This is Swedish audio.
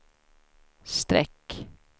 streck